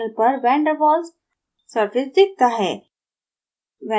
panel पर van der waals surface दिखता है